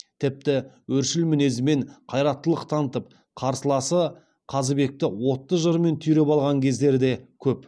тіпті өршіл мінезімен қайраттылық танытып қарсыласы қазыбекті отты жырымен түйреп алған кездері де көп